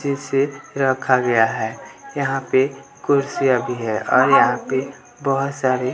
जिसे रखा गया है यहाँ पे कुर्सियाँ भी है और यहाँ पे बहोत सारे --